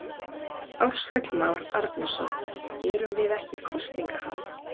Ársæll Már Arnarson: Erum við ekki í kosningaham?